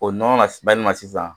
O nɔnɔ na bayɛlɛma sisan